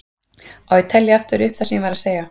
Á ég að telja aftur upp það sem ég var að segja?